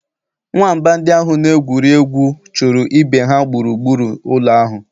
Nwamba ndị ahụ na-egwuri egwu chụrụ ibe ha gburugburu ụlọ ahụ.